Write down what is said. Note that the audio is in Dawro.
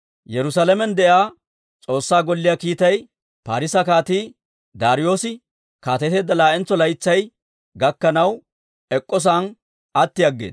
Yerusaalamen de'iyaa S'oossaa Golliyaa kiittay Parisa kaatii Daariyoose kaateteedda laa'entso laytsay gakkanaw, ek'k'o sa'aan atti aggeeda.